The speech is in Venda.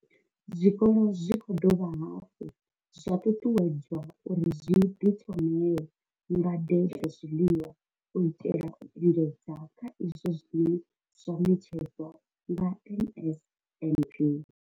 Zwikolo zwi khou dovha hafhu zwa ṱuṱuwedzwa uri zwi ḓi thomele ngade dza zwiḽiwa u itela u engedza kha izwo zwine zwa ṋetshedzwa nga NSNP.